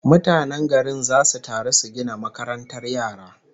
Mutanen garin zasu taru su gina makarantar yara